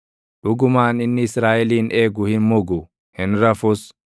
dhugumaan inni Israaʼelin eegu hin mugu; hin rafus.